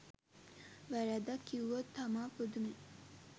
වැරැද්දක් කිව්වොත් තමා පුදුමෙ